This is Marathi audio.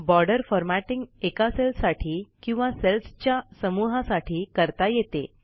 बॉर्डर् फॉरमॅटींग एका सेलसाठी किंवा सेल्सच्या समूहासाठी करता येते